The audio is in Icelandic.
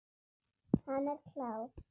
Hann er klár.